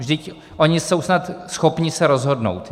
Vždyť oni jsou snad schopni se rozhodnout.